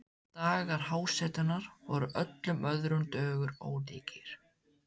Dagar hjásetunnar voru öllum öðrum dögum ólíkir.